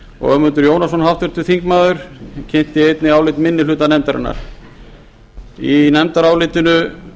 og háttvirtur þingmaður ögmundur jónasson kynnti einnig álit minni hluta nefndarinnar í nefndarálitinu